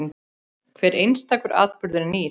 Hver einstakur atburður er nýr.